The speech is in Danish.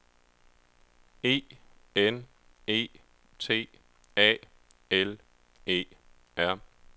E N E T A L E R